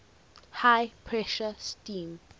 high pressure steam